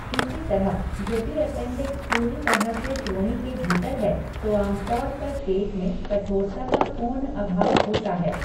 इसी तरह, यदि ऐपेन्डिक्स पूरी तरह से श्रोणि के भीतर है, तो आमतौर पर पेट में कठोरता का पूर्ण अभाव होता है।